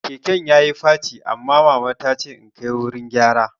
Keken yayi faci, amma mama tace in kai wurin gyara